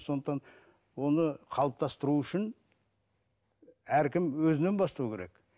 сондықтан оны қалыптастыру үшін әркім өзінен бастау керек